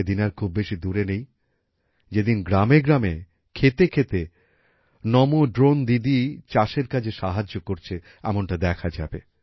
সেই দিন আর খুব বেশি দূরে নেই যেদিন গ্রামে গ্রামে ক্ষেতে ক্ষেতে নম্ ড্রোন দিদি চাষের কাজে সাহায্য করছে এমনটা দেখা যাবে